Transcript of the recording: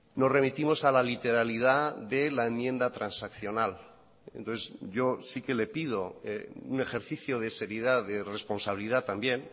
nos remitimos a la literalidad de la enmienda transaccional entonces yo sí que le pido un ejercicio de seriedad de responsabilidad también